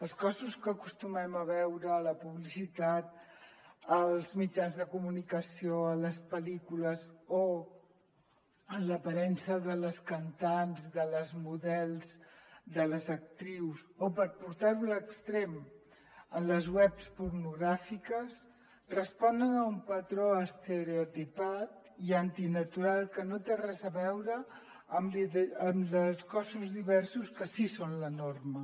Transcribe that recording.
els cossos que acostumem a veure a la publicitat als mit·jans de comunicació a les pel·lícules o en l’aparença de les cantants de les models de les actrius o per portar·ho a l’extrem a les webs pornogràfiques responen a un patró estereotipat i antinatural que no té res a veure amb els cossos diversos que sí que són la norma